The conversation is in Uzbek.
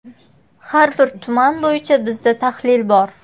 Har bir tuman bo‘yicha bizda tahlil bor.